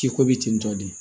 K'i ko bi ten tɔ de